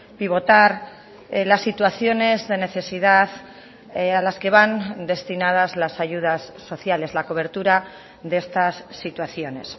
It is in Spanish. pivotar las situaciones de necesidad a las que van destinadas las ayudas sociales la cobertura de estas situaciones